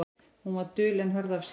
Hún var dul en hörð af sér.